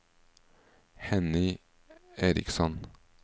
Henny Eriksson